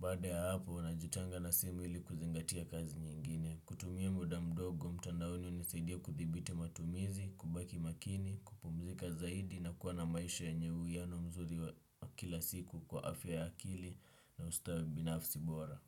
Baada ya hapo, najitenga na simu ili kuzingatia kazi nyingine. Kutumia muda mdogo, mtandaoni hunisaidia kuthibiti matumizi, kubaki makini, kupumzika zaidi na kuwa na maisha yenye uiano mzuri wa kila siku kwa afya ya akili na ustawi binafsi bora.